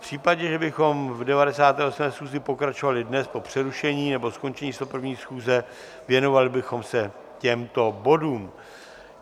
V případě, že bychom v 98. schůzi pokračovali dnes po přerušení nebo skončení 101. schůze, věnovali bychom se těmto bodům.